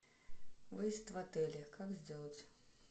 выезд в отеле как сделать